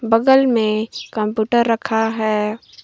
बगल में कंप्यूटर रखा है।